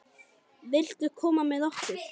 Viltu koma með okkur?